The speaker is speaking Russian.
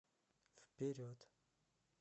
вперед